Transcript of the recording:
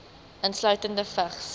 insluitende vigs